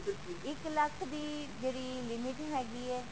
ਤੁਸੀਂ ਇੱਕ ਲੱਖ ਦੀ ਜਿਹੜੀ limit ਹੈਗੀ ਹੈ